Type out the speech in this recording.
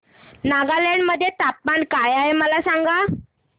नागालँड मध्ये तापमान काय आहे मला सांगा